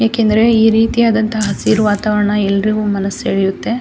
ಯಾಕೆಂದ್ರೆ ಈ ರೀತಿಯಾದಂಹ ಹಸಿರು ವಾತಾವರಣ ಎಲ್ಲರಿಗೂ ಮನಸು ಸೆಳೆಯುತ್ತೆ.